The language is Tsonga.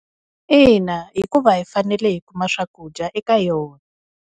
Ina, hikuva hi fanele hi kuma swakudya eka yona.